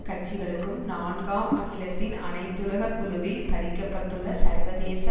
கட்சிகளுக்கும் நான்காம் அகிலத்தின் அனைத்துலக குழுவில் பதிக்கப்பட்டுள்ள சர்வதேச